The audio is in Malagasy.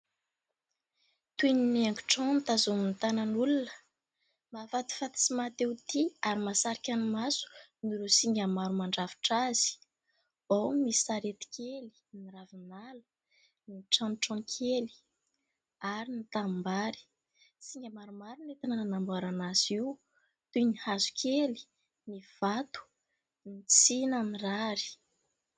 Toy ny haingotrano tazonin'ny tanan'ny olona mahafatifaty sy maha te ho tia ary mahasarika ny maso noho ireo singa maro mandrafitra azy. Ao misy sarety kely, ny ravinala, ny tranotrano kely ary ny tanimbary. Singa maromaro no entina nanamboarana azy io toy ny hazokely, ny vato, ny tsina mirary.